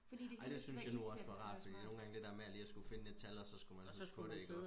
ej det synes jeg nu også var rart fordi nogengange det der med lige at skulle finde et tal og så skulle man huske på det ikke også